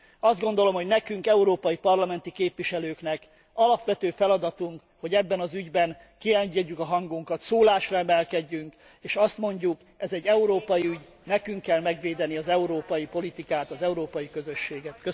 Azt gondolom, hogy nekünk, európai parlamenti képviselőknek alapvető feladatunk, hogy ebben az ügyben kieresszük a hangunkat, szólásra emelkedjünk, és azt mondjuk ez egy európai ügy, nekünk kell megvédeni az európai politikát, az európai közösséget!